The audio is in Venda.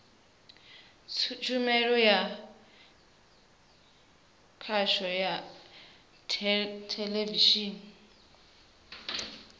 tshumelo ya khasho ya theḽevishini